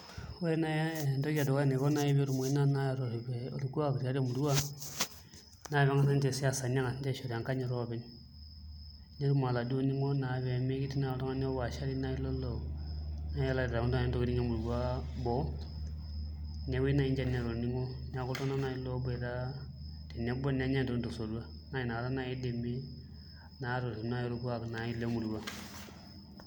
Ore naai entoki edukuya naiko naai pee etumokini atorrip orkuak tiatua emurua naa pee eng'as naai ninche isiasani aishoru enkanyit oopeny netum oladuo ning'o pee metii naa oltung'ani opaashari olo aitayu ntokitin emurua boo neku eyieu naai ninche nishoru olning'o neeku iltung'anak naai ooboita tenebo nenyai ntokitin tosotua naa ina kata naai idimi naa aatorrip naai orkuak lemurua.